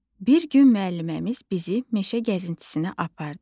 Bir gün müəlliməmiz bizi meşə gəzintisinə apardı.